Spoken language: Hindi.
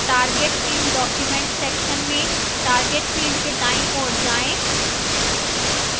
target in document section में target field के दाईं ओर जाएं